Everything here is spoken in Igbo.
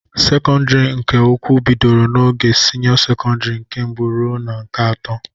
Sekọndịrị nke ukwu bidoro n'ogo sinịọ sekọndịrị nke mbụ ruo na nke atọ.